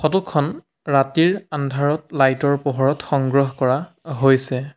Photo খন ৰাতিৰ আন্ধাৰত লাইট ৰ পোহৰত সংগ্ৰহ কৰা হৈছে।